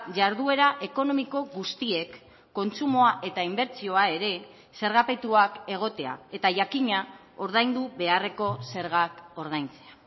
jarduera ekonomiko guztiek kontsumoa eta inbertsioa ere zergapetuak egotea eta jakina ordaindu beharreko zergak ordaintzea